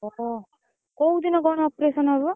ଅହ, କୋଉଦିନ କଣ operation ହବ?